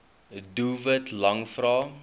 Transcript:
doelwit lang vrae